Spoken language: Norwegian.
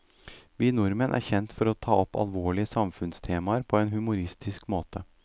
Vi nordmenn er kjent for å ta opp alvorlige samfunnstemaer på en humoristisk måte.